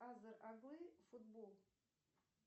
азер оглы футбол